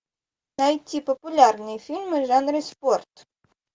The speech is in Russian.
найти популярные фильмы в жанре спорт